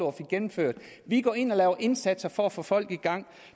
og fik gennemført vi går ind og laver indsatser for at få folk i gang